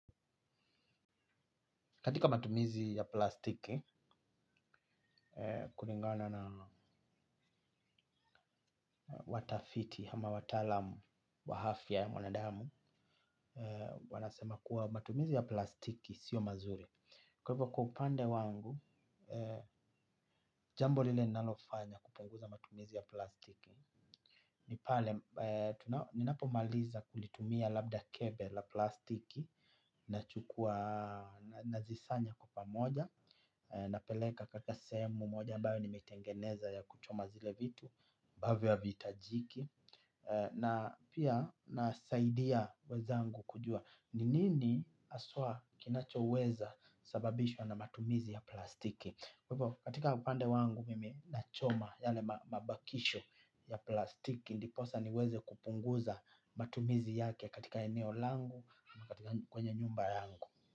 Katika matumizi ya plastiki, kulingana na watafiti hama watalamu wa hafya ya mwana damu, wanasema kuwa matumizi ya plastiki, sio mazuri. Kwa hivo kwa upande wangu, jambo lile ninalofanya, kupunguza matumizi ya plastiki. Nipale, ninapo maliza kulitumia labda kebe la plastiki, nachukua, na zisanya kwa pamoja, napeleka katika sehemu moja ambayo nimetengeneza ya kuchoma zile vitu mbavyo havihitajiki. Na pia, nasaidia weza angu kujua. Ni nini haswa kinachouweza sababishwa na matumizi ya plastiki. Katika upande wangu mimi, nachoma yale mabakisho ya plastiki. Ndiposa niweze kupunguza matumizi yake katika eneo langu, kwenye nyumba yangu.